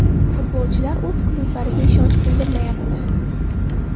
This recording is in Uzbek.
Futbolchilar o‘z klublariga ishonch bildirmayapti.